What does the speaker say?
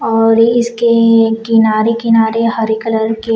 और इसके किनारे किनारे हरे कलर के--